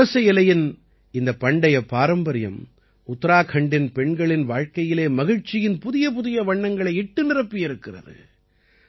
புரச இலையின் இந்த பண்டைய பாரம்பரியம் உத்தராகண்டின் பெண்களின் வாழ்க்கையிலே மகிழ்ச்சியின் புதியபுதிய வண்ணங்களை இட்டு நிரப்பியிருக்கிறது